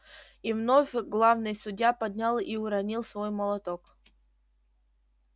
и вновь главный судья поднял и уронил свой молоток